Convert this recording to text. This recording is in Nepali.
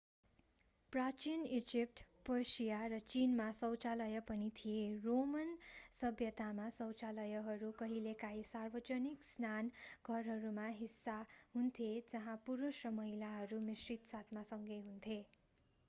प्राचीन इजिप्ट पर्सिया र चीनमा शौचालय पनि थिए रोमन सभ्यतामा शौचालयहरू कहिलेकाहीँ सार्वजनिक स्नान घरहरूका हिस्सा हुन्थे जहाँ पुरुष र महिलाहरू मिश्रित साथमा सँगै हुन्थे